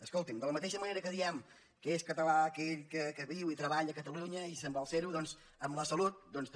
escolti’m de la mateixa manera que diem que és català aquell que viu i treballa a catalunya i vol ser ho amb la salut també